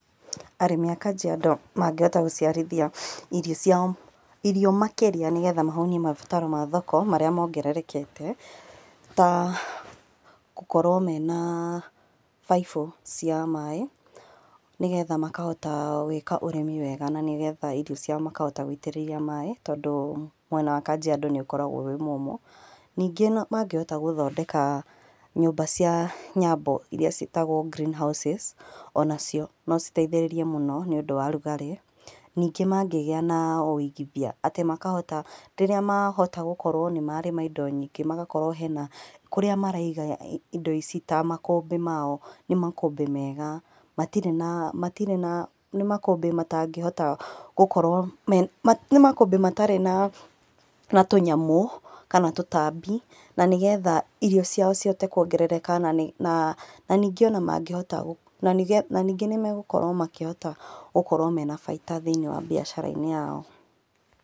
Arĩmi a Kajiado mangĩhota gũciarithia irio ciao, irio makĩria nĩgetha mahũnie mabataro ma thoko marĩa mongererekete, ta, kũkorwo mena baibũ, cia maĩ, nĩgetha makahota gwĩka ũrĩmi wega na nĩgetha irio ciao makahota gũitĩrĩria maĩ tondũ, mwena wa Kajiado nĩũkoragwo wĩ mũmũ, ningĩ no mangĩhota gũthondeka nyũmba cia nyambo iria ciĩtagwo green houses onacio nocitethĩrĩrie mũno nĩũndũ wa rugarĩ, ningĩ mangĩgĩa na wũigithia atĩ makahota, rĩrĩa mahota gũkorwo nímarĩma indo nyingĩ magakorwo mena, kũrĩa maraiga indo ici ta makũmbĩ mao, nĩ makũmbĩ mega, matirĩ na, matirĩ na nĩ makũmbĩ matangĩhota gũkorwo me nĩ makũmbĩ matarĩ na na tũnyamũ kana tũtambi na nĩgetha irio ciao cihote kũongerereka nanĩ na ningĩ ona mangĩhota gũ nanĩ naningĩ nĩmagũkorwo makĩhota gũkorwo mena baida thĩ-inĩ wa mbiacara-inĩ yao.